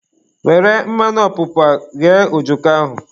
Were mmanụ ọpụpa ghee ojoko ahụ